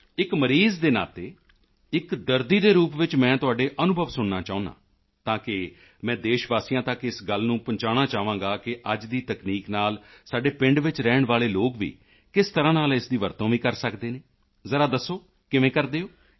ਇੱਕ ਮਰੀਜ਼ ਦੇ ਨਾਤੇ ਇੱਕ ਦਰਦੀ ਦੇ ਰੂਪ ਵਿੱਚ ਮੈਂ ਤੁਹਾਡੇ ਅਨੁਭਵ ਸੁਣਨਾ ਚਾਹੁੰਦਾ ਹਾਂ ਤਾਂ ਕਿ ਮੈਂ ਦੇਸ਼ ਵਾਸੀਆਂ ਤੱਕ ਇਸ ਗੱਲ ਨੂੰ ਪਹੁੰਚਾਉਣਾ ਚਾਹਾਂਗਾ ਕਿ ਅੱਜ ਦੀ ਤਕਨੀਕ ਨਾਲ ਸਾਡੇ ਪਿੰਡ ਵਿੱਚ ਰਹਿਣ ਵਾਲੇ ਲੋਕ ਵੀ ਕਿਸ ਤਰ੍ਹਾਂ ਨਾਲ ਇਸ ਦੀ ਵਰਤੋਂ ਵੀ ਕਰ ਸਕਦੇ ਹਨ ਜ਼ਰਾ ਦੱਸੋ ਕਿਵੇਂ ਕਰਦੇ ਹੋ